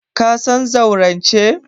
Ka san zaurance?